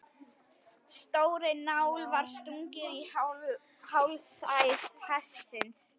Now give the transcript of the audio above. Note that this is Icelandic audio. Stórri nál var stungið í hálsæð hestsins.